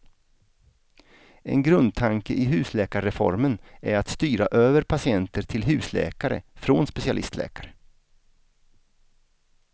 En grundtanke i husläkarreformen är att styra över patienter till husläkare från specialistläkare.